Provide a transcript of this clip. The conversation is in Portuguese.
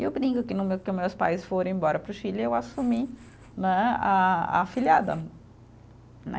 E eu brinco que no meu, que os meus pais foram embora para o Chile, eu assumi né, a a afilhada, né